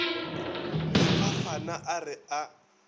le phafana a re a